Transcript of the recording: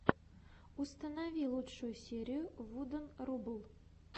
установи лучшую серию вуден рубл